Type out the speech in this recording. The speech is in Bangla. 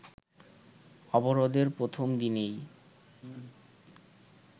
অবরোধের প্রথম দিনেই